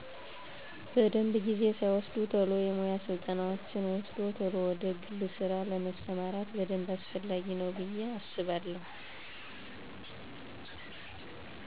በደንብ። ጊዜ ሳይወስድ ቶሎ የሙያ ስልጠናወችን ወስዶ ቶሎ ወደ ግል ስራ ለመስማራት በደንብ አስፈላጊ ነው ብየ አስባለው።